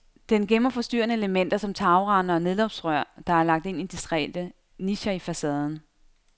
Den gemmer forstyrrende elementer som tagrender og nedløbsrør, der er lagt ind i diskrete nicher i facaden.